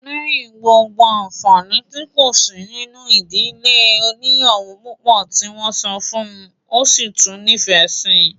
Lẹ́yìn gbogbo àǹfàni tí kò sí nínú ìdílé oníyàwó púpọ̀ tí wọ́n sọ fún un, ó sì tún nífẹ̀ẹ́ síi